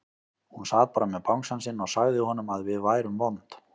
Hún sat bara með bangsann sinn og sagði honum að við værum vond.